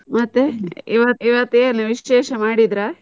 ಮತ್ತೆ ಇವತ್~ ಇವತ್ ಏನು ವಿಶೇಷ ಮಾಡಿದ್ರಾ?